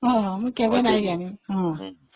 ହଁ ହଁ, ମୁଁ କେବେ ଜାଣିନି